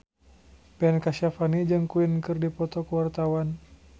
Ben Kasyafani jeung Queen keur dipoto ku wartawan